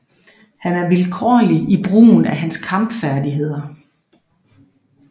Han er vilkårlig i brugen af hans kamp færdigheder